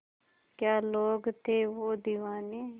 क्या लोग थे वो दीवाने